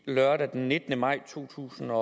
lørdag den nittende maj 2012